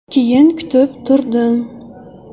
Keyin kutib turdim.